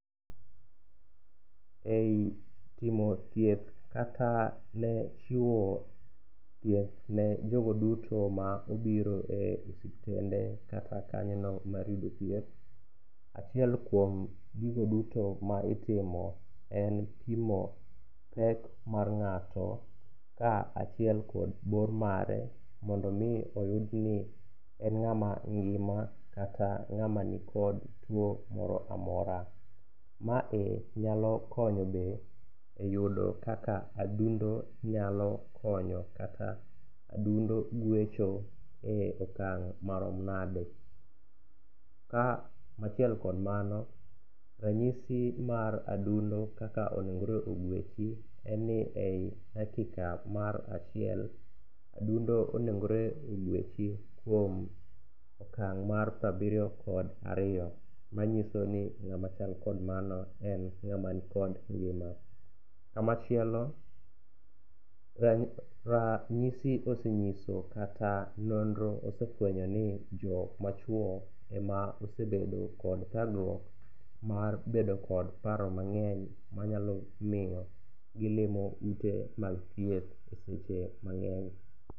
E timo thieth kata chiwo thieth ne jogo duto ma obiro e osuptende kata kanyono mar yudo thieth, achiel kuom gigo duto ma itimo en pimo pek mar ng'ato ka achiel kod bor mare mondo omi oyudni en ng'ama ngima kata ng'ama nikod tuwo moro amora. Mae nyalo konyo be e yudo kaka adundo nyalo konyo kata adundo gwecho e okang' marom nade. Ka achiel kod mano, ranyisi mar adundo kaka onegore ogwechi en ni ei dakika mar achiel, adundo onegore ogwechi kuom okang' mar prabiriyo kod ariyo, manyiso ni ng'ama chal kod mano, en ng'ama nikod ngima. Kama chielo rang'isi oseng'iso kata nonro osefwenyo ni jok machuwo ema osebedo kod thagruok mar bedo kod paro mang'eny manyalo miyo gilimo ute mag thieth e seche mang'eny.